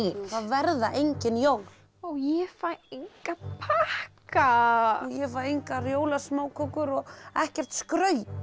það verða engin jól og ég fæ enga pakka ég fæ engar jólasmákökur og ekkert skraut